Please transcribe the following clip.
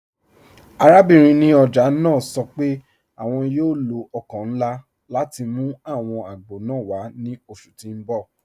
Àràbìnrin ní ọjà naa sọ pé àwọn yóò lọ ọkọ̀ nlá láti mú àwọn àgbọ̀ naa wà ni oṣù tí n bọ̀.